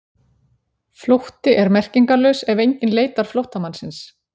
Flótti er merkingarlaus ef enginn leitar flóttamannsins.